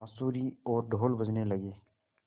बाँसुरी और ढ़ोल बजने लगे